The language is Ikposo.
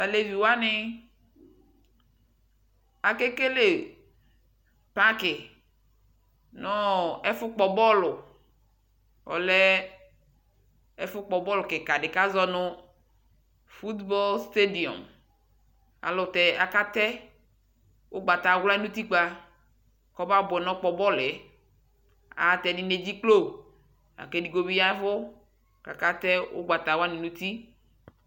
Tʋ alɛvi wani akekele paki nʋ ɔ ɛfʋkpɔ bɔlʋ Ɔlɛ ɛfʋkpɔ bɔlʋ kika di kazɔ nʋ fʋtbɔl ateidiɔm Ayɛlʋtɛ akatɛ ʋgbatawla nʋ ʋtikpa kʋ ɔbabʋɛ nɔkpɔ bɔlʋ yɛ Ayɛlʋtɛ, ɛdini edziklo la kʋ edigbo bi yavʋ kʋ akatɛ ʋgbatawa nʋ ʋti